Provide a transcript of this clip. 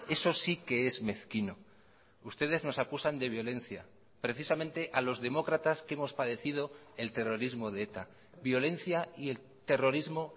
eso sí que es mezquino ustedes nos acusan de violencia precisamente a los demócratas que hemos padecido el terrorismo de eta violencia y el terrorismo